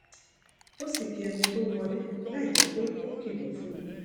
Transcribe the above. ó sì kí ẹni tó wọlé láìjé pé ó kìlò fún un